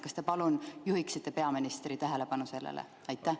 Kas te palun juhiksite peaministri tähelepanu sellele?